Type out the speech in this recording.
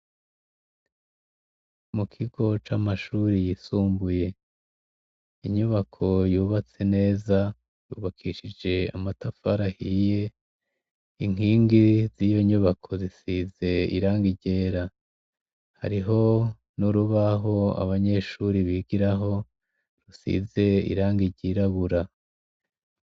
Mu kigo c'amashuri yisumbuye inyubako yubatse neza yubakishije amatafarahiye inkingi z'iyo nyubako zisize iranga iryera hariho n'urubaho abanyeshuri bigiraho rusize iranga iryirabura.